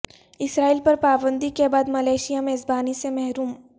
اسرائیل پر پابندی کے بعد ملائیشیا میزبانی سے محروم